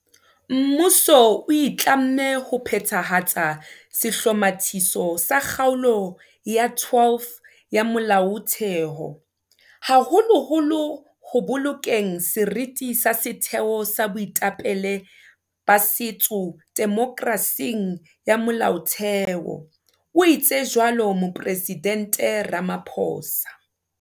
Mmuso o itlamme ho phethahatsa sehlomathiso sa Kgaolo ya 12 ya molaothe ho, haholoholo ho bolokeng seriti sa setheo sa boetapele ba setso demokerasing ya molaotheho, o itse jwalo moporesidente Ramaphosa.